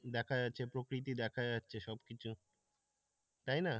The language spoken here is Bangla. দেখা যাচ্ছে দেখা যাচ্ছে প্রকৃতির সবকিছু তাই না